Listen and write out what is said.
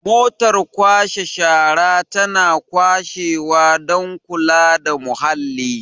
motar kwashe shara tana kwashewa don kula da muhalli